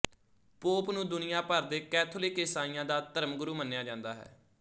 pop ਨੂੰ ਦੁਨੀਆ ਭਰ ਦੇ ਕੈਥੋਲਿਕ ਇਸਾਈਆਂ ਦਾ ਧਰਮਗੁਰੂ ਮੰਨਿਆ ਜਾਂਦਾ ਹੈ